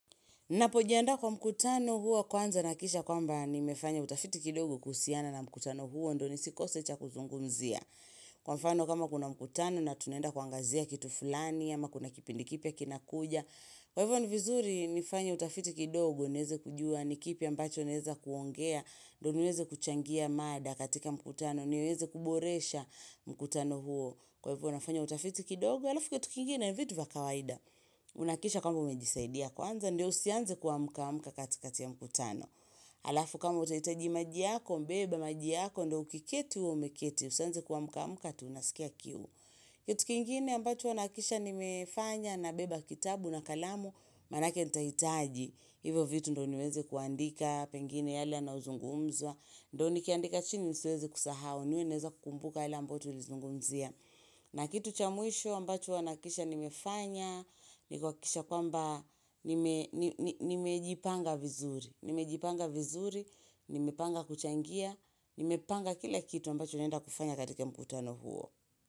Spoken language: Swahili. Napojiandaa kwa mkutano huwa kwanza nahakikisha kwamba nimefanya utafiti kidogo kuhusiana na mkutano huo ndio nisikose cha kuzungumzia. Kwa mfano kama kuna mkutano na tunaenda kuangazia kitu fulani ama kuna kipindi kipya kinakuja. Kwa hivyo ni vizuri nifanye utafiti kidogo niweze kujua ni kipi ambacho naeza kuongea. Ndio niweze kuchangia mada katika mkutano niweze kuboresha mkutano huo. Kwa hivyo nafanya utafiti kidogo alafu kwa kitu kingine ni vitu vya kawaida. Unahakikisha kwamba umejisaidia kwanza, ndio usianze kuamka amka katikati ya mkutano Alafu kama utahitaji maji yako, beba maji yako, ndio ukiketi umeketi, usianze kuamka amka eti unasikia kiu Kitu kingine ambacho huwa nahakikisha nimefanya nabeba kitabu na kalamu, manake nitahitaji. Hivyo vitu ndio niweze kuandika, pengine yale yanayozungumzwa Ndio nikiandika chini nisiweze kusahau niwe naweza kukumbuka yale ambayo tulizungumzia na kitu cha mwisho ambacho huwa nahakikisha nimefanya, nimejipanga vizuri, nimejipanga vizuri, nimepanga kuchangia, nimepanga kila kitu ambacho naenda kufanya katika mkutano huo.